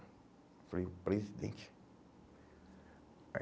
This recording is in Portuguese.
Falei, o presidente? Aí